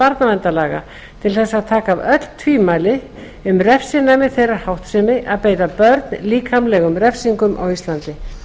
barnaverndarlaga til þess að taka af öll tvímæli um refsinæmi þeirrar háttsemi að beita börn líkamlegum refsingum á íslandi